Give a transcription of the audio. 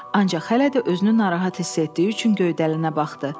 Ancaq hələ də özünü narahat hiss etdiyi üçün göydəlinə baxdı.